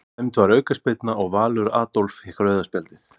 Dæmd var aukaspyrna og Valur Adolf fékk rauða spjaldið.